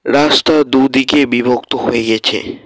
রাস্তা দুদিকে বিভক্ত হইয়েছে।